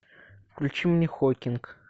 включи мне хокинг